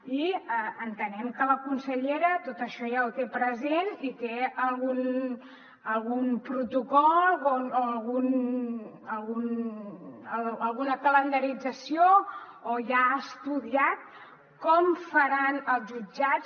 i entenem que la consellera tot això ja ho té present i té algun protocol o alguna calendarització o ja ha estudiat com faran els jutjats